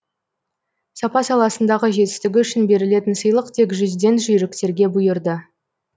сапа саласындағы жетістігі үшін берілетін сыйлық тек жүзден жүйріктерге бұйырды